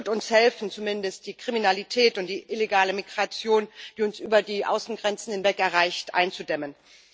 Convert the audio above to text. Es wird uns helfen, zumindest die Kriminalität und die illegale Migration, die uns über die Außengrenzen hinweg erreicht, einzudämmen.